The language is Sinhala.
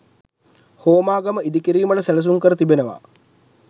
හෝමාගම ඉදිකිරීමට සැලසුම් කර තිබෙනවා.